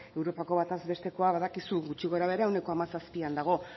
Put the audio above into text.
europako batez bestekoa badakizu gutxi gorabehera ehuneko hamazazpian dago